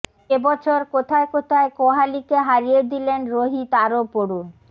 এ বছর কোথায় কোথায় কোহালিকে হারিয়ে দিলেন রোহিত আরও পড়ুন